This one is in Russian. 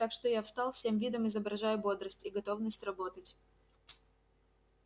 так что я встал всем видом изображая бодрость и готовность работать